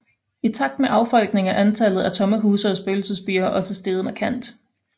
I takt med affolkningen er antallet af tomme huse og spøgelsesbyer også steget markant